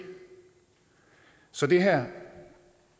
så det her